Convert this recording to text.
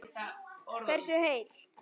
Hversu heil